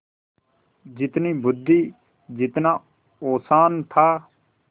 जितनी बुद्वि जितना औसान था